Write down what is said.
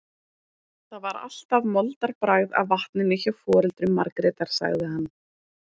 Það var alltaf moldarbragð af vatninu hjá foreldrum Margrétar, sagði hann.